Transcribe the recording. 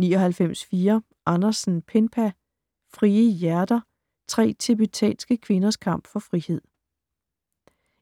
99.4 Andersen, Penpa Frie hjerter: tre tibetanske kvinders kamp for frihed